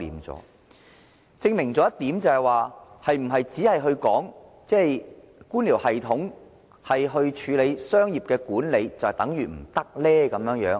這證明了一點，就是採用官僚系統來進行商業管理，是否就會行不通呢？